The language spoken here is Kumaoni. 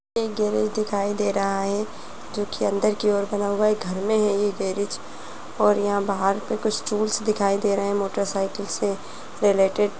एक गैरेज दिखाई दे रहा है जोकि अंदर की ओर बना हुआ घर में है ये गैरेज और यहाँ बाहर पे कुछ टूल्स दिखाई दे रहे हैं मोटरसाइकिल से रिलेटेड ।